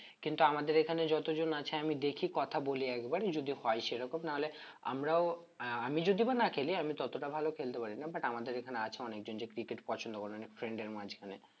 কিন্তু আমার এখানে যতজন আছে আমি দেখি কথা বলি একবার যদি হয়ে সেরকম না হলে আমরাও আমি যদিও বা না খেলি, আমি ততটা ভালো খেলতে পারি না but আমাদের এখানে আছে অনেকজন যে cricket পছন্দ করে অনেক friend এর মাঝখানে